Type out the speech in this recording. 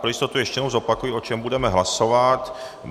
Pro jistotu ještě jednou zopakuji, o čem budeme hlasovat.